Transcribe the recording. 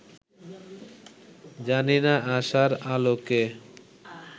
জানি না-আশার আলোকে